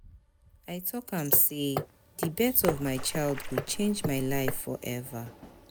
I tok am sey di birth of my child go change my life forever.